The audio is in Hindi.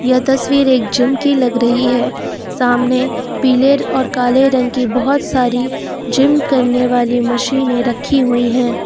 यह तस्वीर एक जिम की लग रही है सामने पिलर और काले रंग की बहोत सारी जिम करने वाली मशीने रखी हुई है।